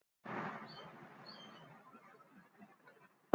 ilé oúnjẹ kíákíá tà french fries.